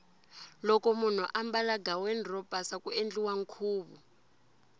loko munhu ambala ghaweni ro pasa ku endliwa nkhuvu